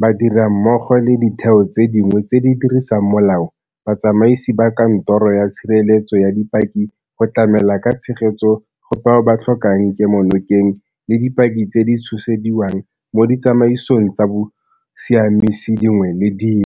ba dira mmogo le ditheo tse dingwe tse di dirisang molao, batsamaisi ba Kantoro ya Tshireletso ya Dipaki go tlamela ka tshegetso go bao ba tlhokang kemonokeng le dipaki tse di tshosediwang mo ditsamaisong tsa bosiamisi dingwe le dingwe.